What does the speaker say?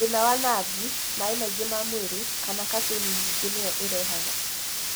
Thĩna wa navu, maĩ maingĩ ma mwĩrĩ, kana caffeini nyingĩ nĩyo ĩrehage.